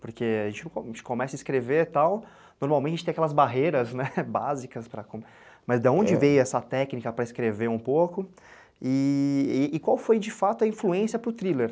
Porque a gente começa a escrever e tal, normalmente tem aquelas barreiras, né, básicas, mas de onde veio essa técnica para escrever um pouco e qual foi de fato a influência para o thriller?